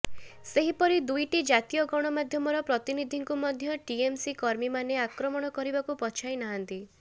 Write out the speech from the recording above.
ସେହିପରି ଦୁଇଟି ଜାତୀୟ ଗଣମାଧ୍ୟମର ପ୍ରତିନିଧିଙ୍କୁ ମଧ୍ୟ ଟିଏମସି କର୍ମୀମାନେ ଆକ୍ରମଣ କରିବାକୁ ପଛାଇ ନାହାନ୍ତି